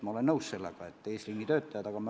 Ma olen nõus, et eesliinitöötajad on hädas.